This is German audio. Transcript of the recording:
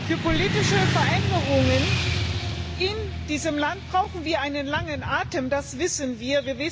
Für politische Veränderungen in diesem Land brauchen wir einen langen Atem, das wissen wir.